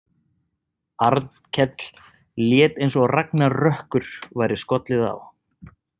Arnkell lét eins og ragnarökkur væri skollið á.